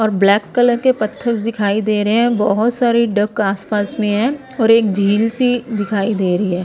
और black colour के पत्थरस दिखाई दे रहे हैं बहुत सारी डक आसपास में है और एक झील सी दिखाई दे रही है ।